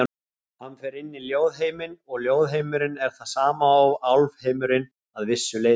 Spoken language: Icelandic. Hann fer inn í ljóðheiminn og ljóðheimurinn er það sama og álfheimurinn, að vissu leyti.